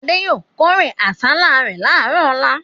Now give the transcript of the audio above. Adé yóò kórè àsálà rẹ̀ láàárọ̀ ọlá.